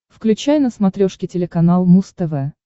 включай на смотрешке телеканал муз тв